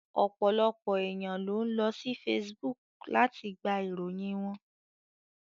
Ọ̀pọ̀lọpọ̀ èèyàn ló ń lọ sí Facebook láti gba ìròyìn wọn